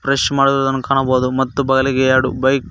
wash ಮಾಡುವುದನ್ನು ಕಾಣಬೋದು ಮತ್ತು ಬಲಗೆ ಎರಡು ಬೈಕ್ --